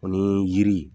O ni yiri